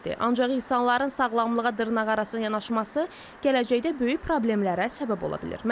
Ancaq insanların sağlamlığa dırnaqarası yanaşması gələcəkdə böyük problemlərə səbəb ola bilir.